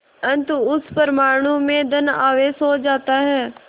अतः उस परमाणु में धन आवेश हो जाता है